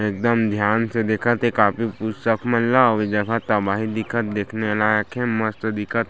एकदम ध्यान से देखत हे कापी पुस्तक मन ल अऊ ए जगह तबाही दिखत हे देखने लायक हे मस्त दिखत हे।